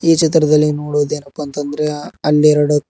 ಈ ಚಿತ್ರದಲ್ಲಿ ನೋಡೋದ್ ಏನಪ್ಪಾ ಅಂದ್ರೆ ಹ ಹನ್ನೆರಡು--